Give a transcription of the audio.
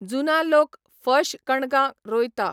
जुना लोक फश कणगां रोयता.